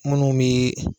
Munnu be